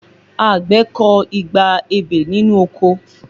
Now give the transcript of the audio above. Àgbẹ̀ kọ igba ebè nínú oko